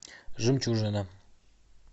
жемчужина